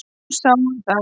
Hún sá um það.